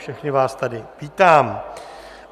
Všechny vás tady vítám.